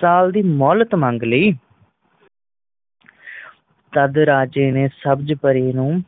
ਸਾਲ ਦੀ ਮੋਲਤ ਮਾਂਗ ਲਈ ਤਦ ਰਾਜੇ ਨੇ ਸਬਜ ਪਰੀ ਨੂੰ